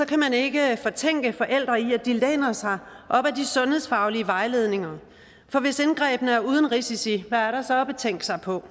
kan man ikke fortænke forældre i at de læner sig op ad de sundhedsfaglige vejledninger for hvis indgrebene er uden risici hvad er der så at betænke sig på